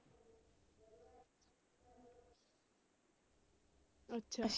ਅੱਛਾ।